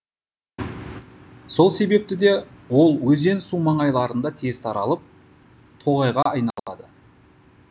сол себепті де ол өзен су маңайларында тез таралып тоғайға айналады